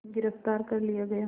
गिरफ़्तार कर लिया गया